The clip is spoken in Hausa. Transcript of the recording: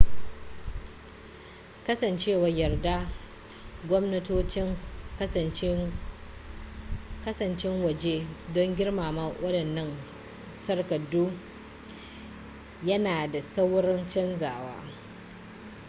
kasancewar yardar gwamnatocin kasashen waje don girmama waɗannan takardu yana da saurin canzawa